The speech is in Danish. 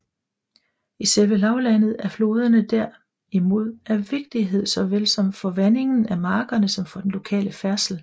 I selve lavlandet er floderne der imod af vigtighed såvel for vandingen af markerne som for den lokale færdsel